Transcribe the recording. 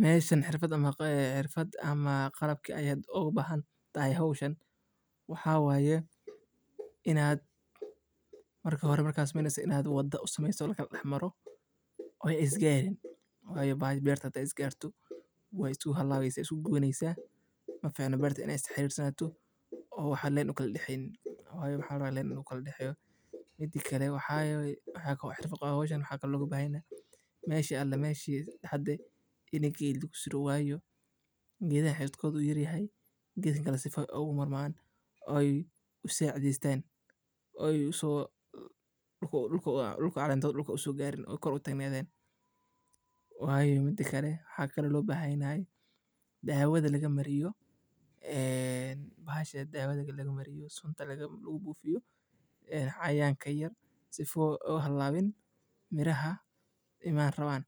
meshan xirfaad ama qalabki aya oga bahantahay howshan waxaa waye in aa marka hore marka sumeyneso wada sumeyso laka dax maro ee isgarin ee berta hade isgarto wexee so halaweysa wee isku guwaneysa maficino beerta in ee isku xarir sanato waxaa fican in u len udaxeyo, mida kale waxaa waye xirafad ku qawan waxaa waye meel kista ee ku qawan in geed lagu suro wayo geedaha xididkodhu u yar yahay in geedaha kale ee ku marman oo ee sacidestan oo uso calentodha dulka usogarin oo ee kor utagnadhan, mida kale waxaa waye in ee dawadha laga mariyo ee bahasha dawadha laga mariyo sunta lagu bufiyo cayayanka yar yar sifa oga halawin miraha iman donan.